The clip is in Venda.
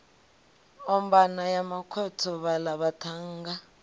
ombana ya makhotho vhaḽa vhaṱhannga